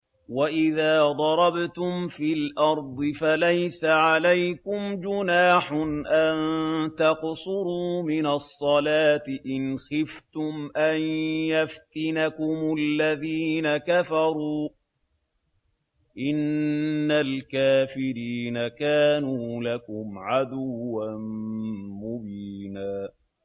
وَإِذَا ضَرَبْتُمْ فِي الْأَرْضِ فَلَيْسَ عَلَيْكُمْ جُنَاحٌ أَن تَقْصُرُوا مِنَ الصَّلَاةِ إِنْ خِفْتُمْ أَن يَفْتِنَكُمُ الَّذِينَ كَفَرُوا ۚ إِنَّ الْكَافِرِينَ كَانُوا لَكُمْ عَدُوًّا مُّبِينًا